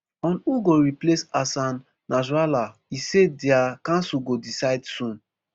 on who go replace hassan nasrallah e say dia council go decide soon